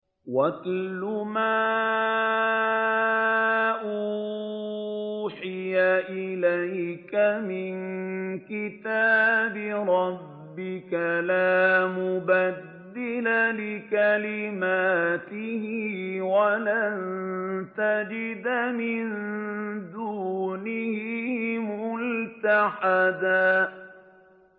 وَاتْلُ مَا أُوحِيَ إِلَيْكَ مِن كِتَابِ رَبِّكَ ۖ لَا مُبَدِّلَ لِكَلِمَاتِهِ وَلَن تَجِدَ مِن دُونِهِ مُلْتَحَدًا